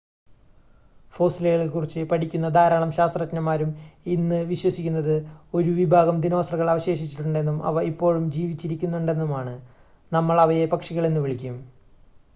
ഫോസ്സിലുകളെക്കുറിച്ച് പഠിക്കുന്ന ധാരാളം ശാസ്ത്രജ്ഞന്മാരും ഇന്ന് വിശ്വസിക്കുന്നത് 1 വിഭാഗം ദിനോസറുകൾ അവശേഷിച്ചിട്ടുണ്ടെന്നും അവ ഇപ്പോഴും ജീവിച്ചിരിക്കുന്നുണ്ടെന്നുമാണ് നമ്മൾ അവയെ പക്ഷികൾ എന്നു വിളിക്കും